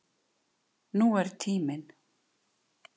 Nú er tíminn.